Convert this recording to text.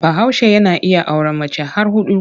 Bahaushe yana iya auren mace har huɗu.